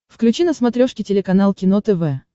включи на смотрешке телеканал кино тв